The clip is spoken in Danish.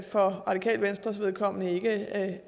for radikale venstres vedkommende ikke at